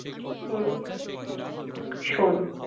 হম শোন